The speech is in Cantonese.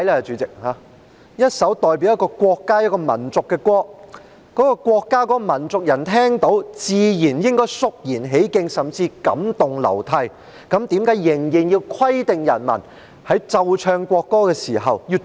主席，一首代表國家和民族的歌曲，該國的國民和民族聽到時自然理應肅然起敬，甚至感動流涕，但為何仍要規定人民在奏唱國歌時的行為？